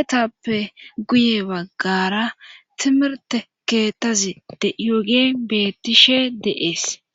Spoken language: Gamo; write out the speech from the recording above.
etappe guye baggara timirte keettazi deyoge bettishe deees